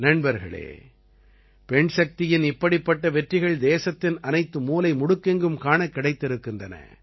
நண்பர்களே பெண்சக்தியின் இப்படிப்பட்ட வெற்றிகள் தேசத்தின் அனைத்து மூலைமுடுக்கெங்கும் காணக் கிடைத்திருக்கின்றன